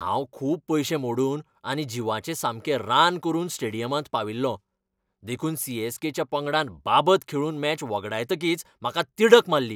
हांव खूब पयशे मोडून आनी जिवाचें सामकें रान करून स्टेडियमांत पाविल्लों, देखून सी. एस. के.च्या पंगडान बाबत खेळून मॅच वगडायतकीच म्हाका तिडक मारली.